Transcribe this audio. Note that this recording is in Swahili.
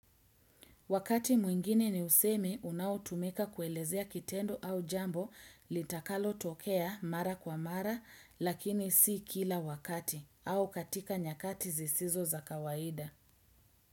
Wakati mwingine ni usemi unao tumika kuelezea kitendo au jambo litakalo tokea mara kwa mara lakini si kila wakati au katika nyakati zisizo za kawaida.